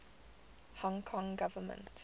hong kong government